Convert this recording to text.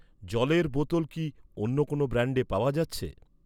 জলের বোতল কি অন্য কোনও ব্র্যান্ডে পাওয়া যাচ্ছে?